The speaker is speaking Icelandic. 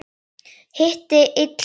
Hitti illa á.